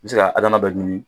I be se ka dɔ ɲigin